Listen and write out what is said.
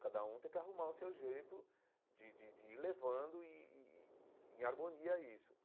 Cada um tem que arrumar o seu jeito de de de ir levando e e e em harmonia isso.